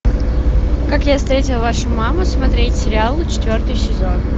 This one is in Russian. как я встретил вашу маму смотреть сериал четвертый сезон